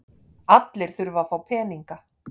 Allir þurfa að fá peninga.